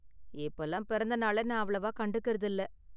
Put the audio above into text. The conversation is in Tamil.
இப்பலாம் பிறந்தநாள நான் அவ்வளவா கண்டுக்கறது இல்ல.